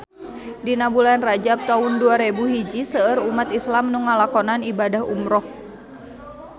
Dina bulan Rajab taun dua rebu hiji seueur umat islam nu ngalakonan ibadah umrah